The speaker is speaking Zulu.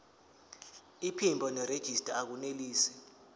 iphimbo nerejista akunelisi